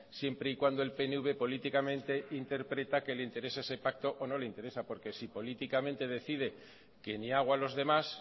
siempre y cuando el pnv políticamente interpreta que le interesa ese pacto o no le interesa porque si políticamente decide que ni agua a los demás